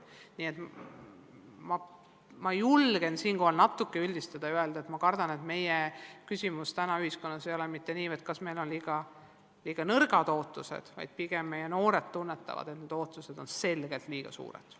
Nii et ma julgen siinkohal üldistada ja öelda, et ma kardan, et meie probleem ühiskonnas ei ole mitte liiga madalad ootused, vaid pigem noored tunnetavad, et ootused on selgelt liiga kõrged.